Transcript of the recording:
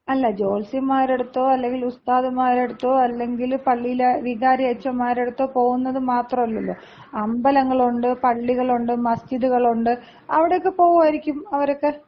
അല്ല, ജോത്സ്യന്മാരുടടുത്തോ അല്ലെങ്കില് ഉസ്താദുമാരടുത്തോ അല്ലെങ്കില് പള്ളിയിലെ വികാരിയച്ചൻമാരടുത്തോ പോകുന്നത് മാത്രല്ലല്ലോ. അമ്പലങ്ങളൊണ്ട് പള്ളികളൊണ്ട്, മസ്ജിദുകളുണ്ട്. അവിടെയൊക്കെ പോവുവാരിക്കും അവരൊക്കെ.